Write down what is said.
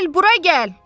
Bil, bura gəl!